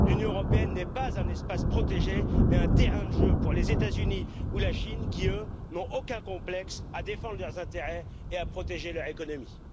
L'Union européenne n'est pas un espace protégé, mais un terrain de jeu pour les États-Unis ou la Chine qui, eux, n'ont aucun complexe à défendre leurs intérêts et à protéger leur économie.